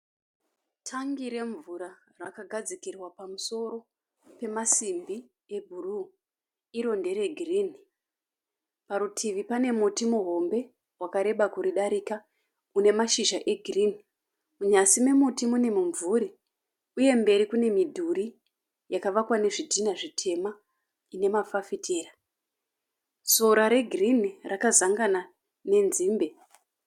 Tangi remvura rakagadzikirwa pamusoro pemasimbi ebhuruu iro ndere girinhi. Parutivi pane muti muhomwe wakareba kuridarika une mashizha egirinhi. Munyasi memuti mune mumvuri uye mberi kune midhuri yakavakwa nezvitinha zvitema ine mafafitera. Sora regirinhi rakazangana nenzimbe.